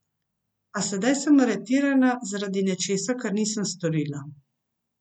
A sedaj sem aretirana zaradi nečesa, kar nisem storila.